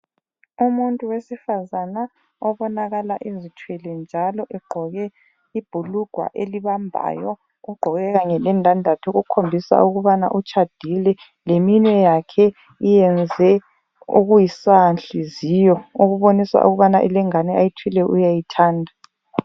Umuntu wesifazana obonakala ezithwele njalo egqoke ibhulugwa elibambayo ugqoke kanye lendandatho okukhombisa ukubana utshadile leminwe yakhe yenze okusanhliziyo okubonisa ukubana lengane ayithweleyo uyayithanda.